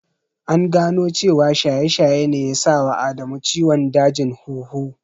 An gano cewa shaye-shaye ne ya sa wa Adamu ciwon dajin huhu.